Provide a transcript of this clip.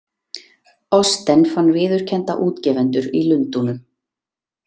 Austen fann viðurkennda útgefendur í Lundúnum.